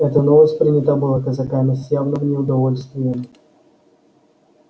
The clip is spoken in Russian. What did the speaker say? эта новость принята была казаками с явным неудовольствием